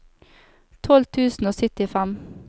tolv tusen og syttifem